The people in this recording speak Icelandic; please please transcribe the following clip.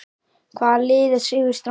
Hvaða lið er sigurstranglegast?